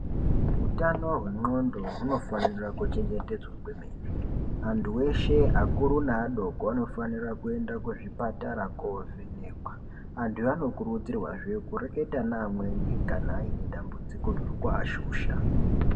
Utano hwendxondo hunofanira kuchengetedzwa kwemene antu eshe akuru neadoko anofanire kuende kuzvipatara kovhenekwa . Antu anokurudzirwazve kureketa neamweni kana aine dambudziko riri kuashusha.